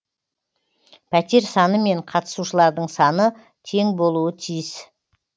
пәтер саны мен қатысушылардың саны тең болуы тиіс